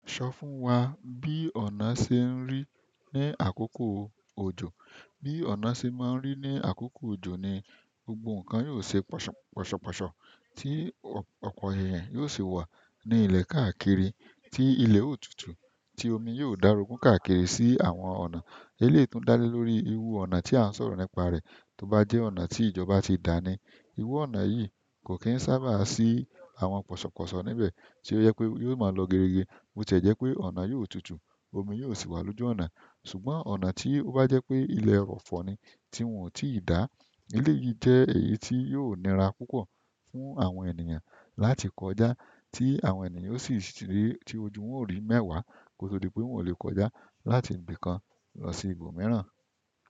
Sọ fún wa bí ọ̀nà se ń rí ní àkókò òjò. Bí ọ̀nà se máa ń rí ní àkókò òjò ni gbogbo nǹkan yóò se pọ̀ṣọ̀pọ̀ṣọ̀, tí ọ̀pọ̀ èhìn yóò sì wà ní ilẹ̀ káàkiri, tí ilẹ̀ ó tutù, tí omi yóò darogun káàkiri sí àwọn ọ̀nà. Eléi tùn dá lé lórí irú ọ̀nà tí à ń sọ̀rọ̀ nípa rẹ̀ tó bá jẹ́ ọ̀nà tí ìjọba ti dá ni. Iru ọ̀nà yìí ko kin saaba si àwọn pọṣọpọṣọ níbẹ̀ to jẹ pe yóò mọ lọ geerege ni bo tiẹ jẹ́ pé ọ̀nà yóò tutù, omi yóò sì wà lójú ọ̀nà. Ṣùgbọ́n ọ̀nà tí ó bá jẹ́ pé ilẹ̀ ẹrọ̀fọ̀ ni tí wọ́n ò tí ì dá, ele yìí jẹ́ èyí tí yóò nira púpọ̀ fún àwọn ènìyàn láti kọjá, tí àwọn ènìyàn ó sì ti ojú wọn ó rí mẹ́wàá kó tó di pé wọn lè kọjá láti ibìkan lọ sí ibòmíràn.